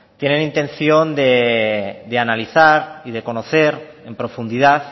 tienen intención de analizar y de conocer en profundidad